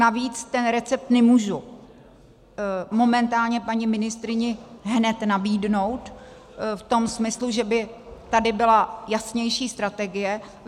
Navíc ten recept nemůžu momentálně paní ministryni hned nabídnout v tom smyslu, že by tady byla jasnější strategie.